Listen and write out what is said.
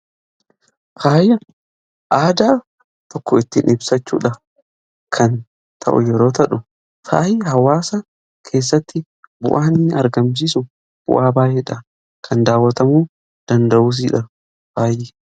Faayi aadaa tokko ittiin ibsachuu kan ta'u yoo ta'u faayii hawaasa keessatti bu'aa inni argamsiisu bu'aa baay'eedha. kan daawatamuu danda'uusidhas.